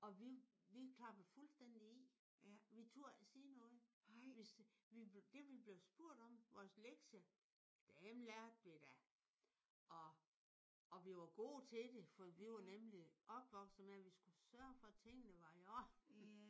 Og vi vi klappede fuldstændigt i. Vi turde ikke sige noget. Vi det vi blev spurgt om vores lektie. Dem lærte vi da. Og og vi var gode til det for vi var nemlig opvokset med at vi skulle sørge for at tingene var i orden